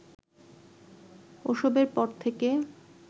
ওসবের পর থেকে